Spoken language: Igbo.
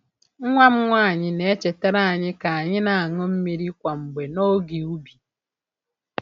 Nwa m nwanyị na-echetere anyị ka anyị na-aṅụ mmiri kwa mgbe n’oge ubi.